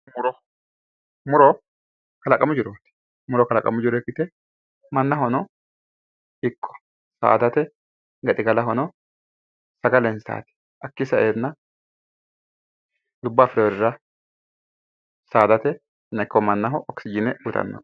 Muro muro kalaqamu jirooti muro kalaqamu jiro ikkite mannahono ikko saadate gaxigalahono sagalensaati hakkii sa"enna lubbo afireyoirira sadatenna ikko mannaho okisijiine uyiitanno